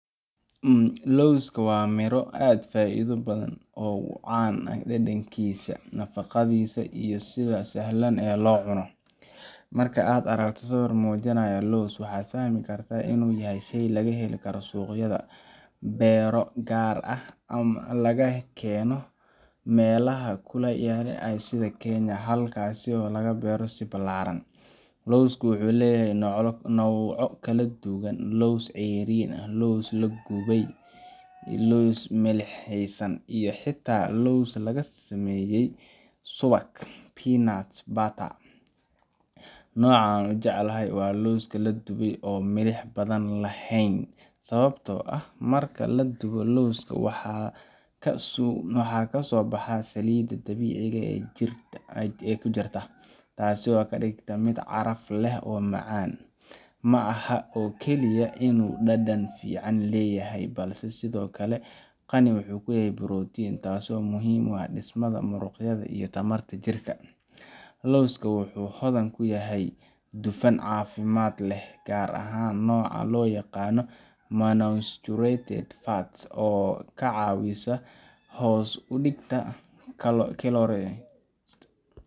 Lowska waa miro aad u faa’iido badan oo caan ku ah dhadhankiisa, nafaqadiisa iyo sida sahlan ee loo cuno. Marka aad aragto sawir muujinaya lows, waxaad fahmi kartaa inuu yahay shey laga heli karo suuqyada, beero gaar ah ama laga keeno meelaha kulaylaha ah sida Kenya, halkaasoo laga beero si ballaaran. Lowsku wuxuu leeyahay noocyo kala duwan sida: lows ceeriin, lows la dubay, lows milixaysan, iyo xitaa lows laga sameeyay subag peanut butter. Nooca aan ugu jeclahay waa lowska la dubay oo aan milix badan lahayn, sababtoo ah: Marka la dubo lowska, waxaa ka soo baxa saliidda dabiiciga ah ee ku jirta, taasoo ka dhigta mid caraf leh oo macaan. Ma aha oo kaliya inuu dhadhan fiican leeyahay, balse sidoo kale waa qani ku ah borotiin taasoo muhiim u ah dhismaha muruqyada iyo tamarta jirka. Lowska wuxuu hodan ku yahay dufan caafimaad leh gaar ahaan nooca loo yaqaan monounsaturated fats oo ka caawiya hoos u dhigista